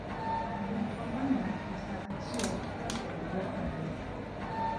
Bud oganda e saa achiel kasto iluok maber